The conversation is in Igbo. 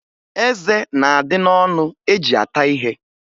Eze na-adị n'ọnụ eji ata ihe